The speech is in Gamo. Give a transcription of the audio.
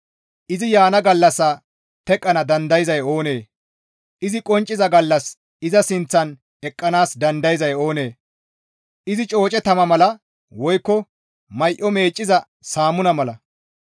Izi yaana gallassa teqqana dandayzay oonee? Izi qoncciza gallas iza sinththan eqqanaas dandayanay oonee? Izi cooce tama mala woykko may7o meecciza saamuna mala;